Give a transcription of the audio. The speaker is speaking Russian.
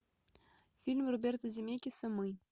фильм роберта земекиса мы